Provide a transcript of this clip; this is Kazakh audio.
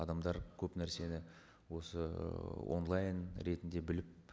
адамдар көп нәрсені осы ыыы онлайн ретінде біліп